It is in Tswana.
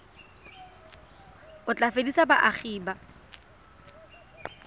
o tla fedisa boagi ba